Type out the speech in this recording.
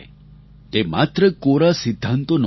તે માત્ર કોરા સિદ્ધાંતો નહોતા